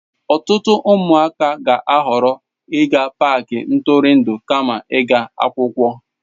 Ọtụtụ ụmụaka ga-ahọrọ ịga paaki ntụrụndụ kama ịga akwụkwọ.